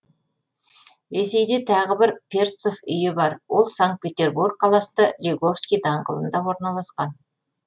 ресейде тағы бір перцов үйі бар ол санкт петербург қаласында лиговский даңғылында орналасқан